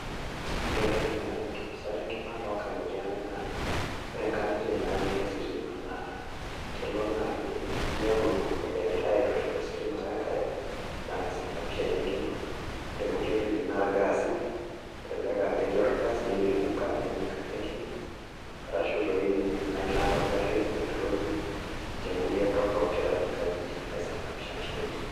Ore entoki nau enkinosata enkima tonkang'itie ang' naa, ore inkang'itie natii ilo sitima naa, kelo naa inepu ibung'ie egirai aitushul ositima wenkare, na kisababisha ina enkima. Ore nkulie tokiting naa irgaasi, elelek ah ketii orgas nilipuka nenya enkaji enkima, arashu toi inye kuna ilat ogarrin petroli, ninche nkulie torrok tiatua nkajijik naisababisha nkimaitie.